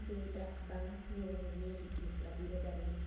e dhi dak banig ' niyuol ni e eni higinii 72.